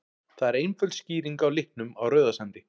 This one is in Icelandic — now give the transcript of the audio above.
Það er einföld skýring á litnum á Rauðasandi.